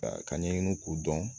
ka ɲɛɲini k'u dɔn